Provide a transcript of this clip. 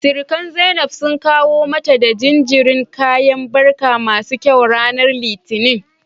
Sirikan Zainab sun kawo mata da jinjirin kayan barka masu kyau ranar Litinin.